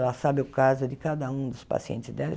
Ela sabe o caso de cada um dos pacientes dela.